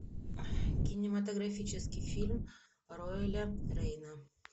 кинематографический фильм роэля рейна